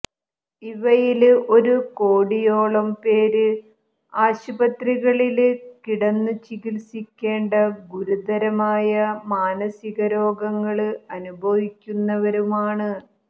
ഇവയില് ഒരു കോടിയോളം പേര് ആശുപത്രികളില് കിടന്നുചികത്സിക്കേണ്ട ഗുരുതരമായ മാനസിക രോഗങ്ങള് അനുഭവിക്കുന്നവരുമാണ്